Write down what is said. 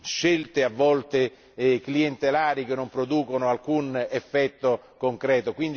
scelte, a volte clientelari, che non producono alcun effetto concreto.